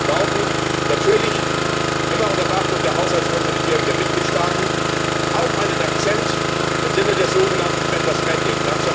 Wir brauchen natürlich immer unter Beachtung der Haushaltskonsolidierung der Mitgliedstaaten auch einen Akzent im Sinne des so genannten better spending